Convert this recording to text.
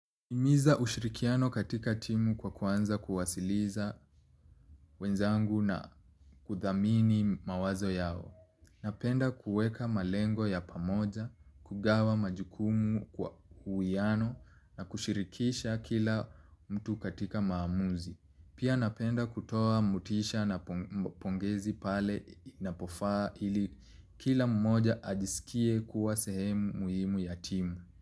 Himiza ushirikiano katika timu kwa kuanza kuwasiliza wenzangu na kuthamini mawazo yao. Napenda kueka malengo ya pamoja, kugawa majukumu kwa uwiano na kushirikisha kila mtu katika maamuzi. Pia napenda kutoa motisha na pongezi pale inapofaa ili kila mmoja ajisikie kuwa sehemu muhimu ya timu.